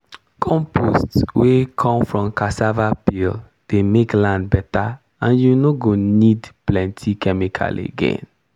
compost wey come from cassava peel dey make land better and you no go need plenty chemical again.